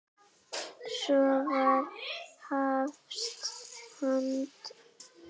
Svo var hafist handa.